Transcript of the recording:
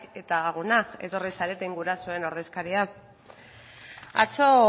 eta lagunak etorri zareten gurasoen ordezkariak atzo